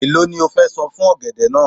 Èló ni o fẹ san fún ọ̀gẹ̀dẹ̀ náà?